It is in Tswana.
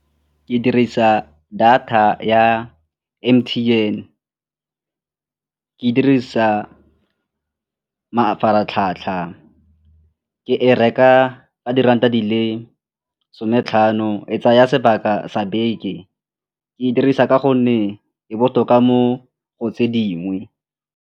Ke dirisa data ya M_T_N, ke dirisa mafaratlhatlha, ke e reka ka diranta di le sone tlhano, e tsaya sebaka sa beke. Ke e dirisa ka gonne e botoka mo go tse dingwe.